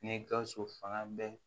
Ni gawusu fanga bɛɛ